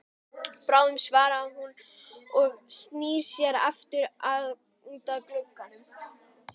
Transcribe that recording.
Bráðum svarar hún og snýr sér aftur út að glugganum.